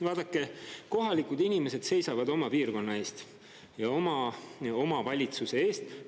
Vaadake, kohalikud inimesed seisavad oma piirkonna eest ja oma omavalitsuse eest.